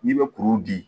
N'i bɛ kuru di